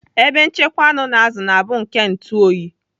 Ebe nchekwa anụ na azụ na-abụ nke ntuoyi.